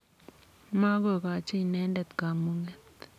Makogochi inendet kamung'et.